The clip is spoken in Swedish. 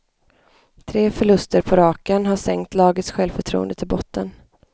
Tre förluster på raken har sänkt lagets självförtroende till botten.